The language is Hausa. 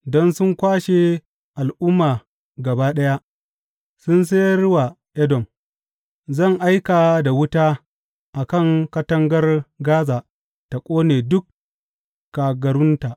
Don sun kwashe al’umma gaba ɗaya sun sayar wa Edom, Zan aika da wuta a katangar Gaza ta ƙone duk kagarunta.